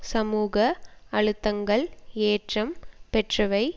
சமூக அழுத்தங்கள் ஏற்றம் பெற்றவை